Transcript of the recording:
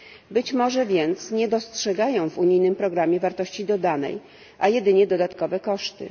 Być może więc nie dostrzegają w unijnym programie wartości dodanej, a jedynie dodatkowe koszty.